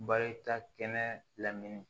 Barika kɛnɛ lamini